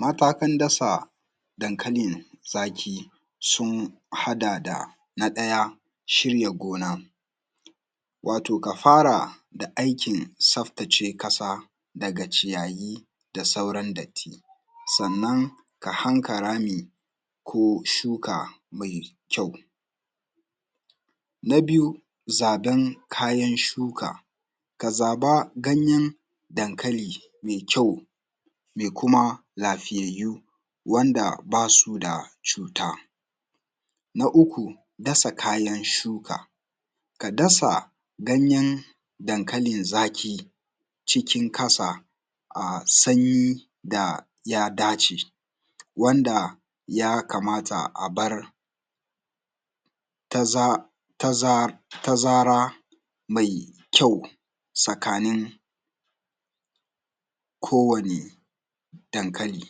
Matakan dasa dankali zaƙi sun haɗa da; na ɗaya shirya gona wato ka fara da aikin tsaftace ƙasa daga ciyayi da sauran datti, sannan ka haƙa rami ko shuka mai kyau. Na biyu zaɓen kayan shuka; ka zaɓa ganyen dankali mai kyau mai kuma lafiyayyu wanda baa su da cuuta. Na uku dasa kayan shuka; ka dasa ganyen dankalin zaƙi cikin ƙasa a sanyi da ya dace, wanda ya kamata a bar taza taza tazaraa mai kyau tsakanin kowane dankali.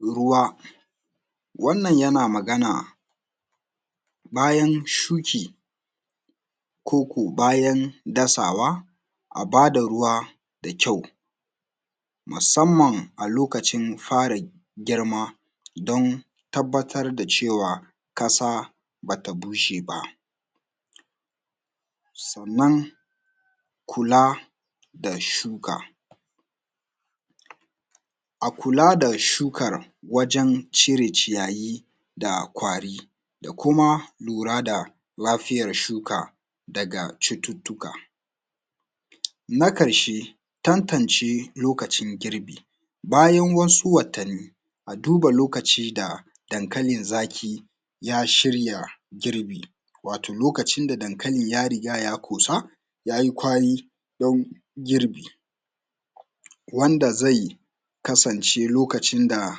Ruwa wannan yana magana bayan shuki koko bayan dasawa, a baa da ruwa dakyau musamman a lokacin fara girmaa don tabbatar da cewa ƙasa ba ta bushe ba. Sannan kulaa da shuka a kulaa da shukar wajen cire ciyayi da ƙwari da kuma lura da lafiyar shuka daga cututtuka. Na ƙarshee tantance lokacin girbi bayan wasu watanni a duba lokacin da dankalin zaƙi ya shirya girbi wato lokacin da dankali ya riga ya ƙoosa ya yi ƙwari don girbi wanda zai kasance lokacin da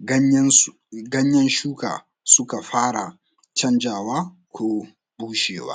ganyensu ganyen shuka suka fara canjawa ko bushewa.